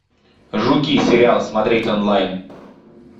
жуки сериал смотреть онлайн